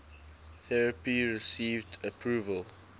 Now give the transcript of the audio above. therapy received approval